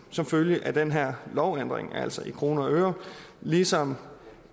som følge af den her lovændring altså i kroner og øre ligesom